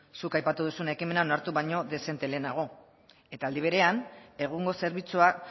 zuk aipatu duzun ekimena onartu baino dezente lehenago eta aldi berean egungo zerbitzuak